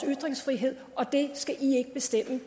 ytringsfrihed og det skal